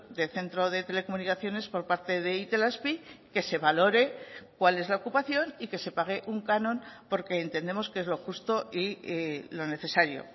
de centro de telecomunicaciones por parte de itelazpi que se valore cuál es la ocupación y que se pague un canon porque entendemos que es lo justo y lo necesario